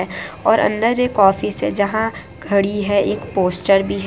और अंदर एक ऑफिस है जहां घड़ी है एक पोस्टर भी है।